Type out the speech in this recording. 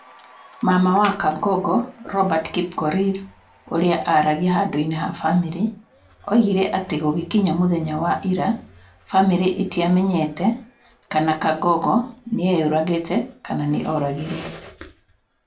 Mama wa Kangogo Robert Kipkorir, ũrĩa aaragia handũ-inĩ ha bamirĩ, oigire atĩ gũgĩkinya mũthenya wa ira, bamirĩ ĩtiamenyete kana Kangogo nĩ eyũragĩte kana nĩ oragirũo.